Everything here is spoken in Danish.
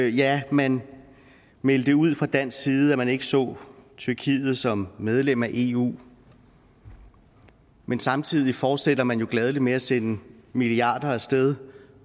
ja man meldte ud fra dansk side at man ikke så tyrkiet som medlem af eu men samtidig fortsætter man jo gladeligt med at sende milliarder af sted